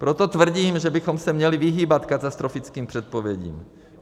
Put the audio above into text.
Proto tvrdím, že bychom se měli vyhýbat katastrofickým předpovědím.